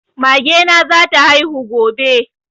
Mage na za ta haihu gobe